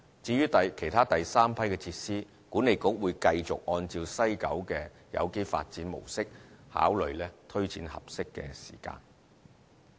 至於其他第三批設施，管理局會繼續按照西九的有機發展模式考慮推展的合適時間。